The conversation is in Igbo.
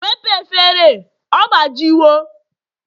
wepụ efere, ọgbajiwo!